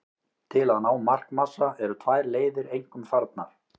Til að ná markmassa eru tvær leiðir einkum farnar.